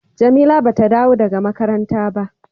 Jamila ba ta dawo daga makaranta ba.